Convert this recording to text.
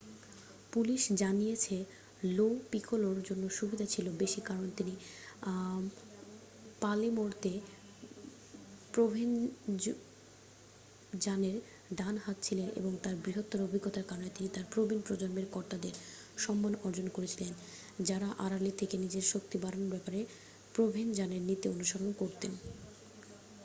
police জানিয়েছে Lo পিকোলোর জন্য সুবিধা ছিল বেশি কারণ তিনি পালের্মোতে প্রোভেনজানোর ডান হাত ছিলেন এবং তার বৃহত্তর অভিজ্ঞতার কারণে তিনি তার প্রবীণ প্রজন্মের কর্তাদের সম্মান অর্জন করেছিলেন যারা আড়ালে থেকে নিজের শক্তি বাড়ানোর ব্যাপারে প্রোভেনজানোর নীতি অনুসরণ করতেন